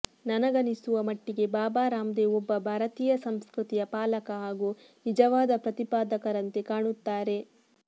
ನನಗನಿಸುವ ಮಟ್ಟಿಗೆ ಬಾಬಾ ರಾಮದೇವ್ ಒಬ್ಬ ಭಾರತೀಯ ಸಂಸ್ಕೃತಿಯ ಪಾಲಕ ಹಾಗೂ ನಿಜವಾದ ಪ್ರತಿಪಾದಕರಂತೆ ಕಾಣುತ್ತಾರೆ